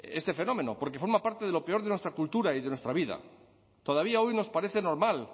este fenómeno porque forma parte de lo peor de nuestra cultura y de nuestra vida todavía hoy nos parece normal